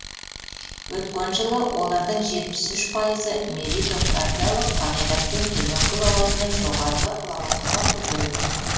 өткен жылы олардың жетпіс үш пайызы меритократиялық қағидатпен төменгі лауазымнан жоғарғы лауазымға көтерілген